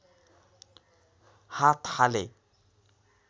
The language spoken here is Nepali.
हात हाले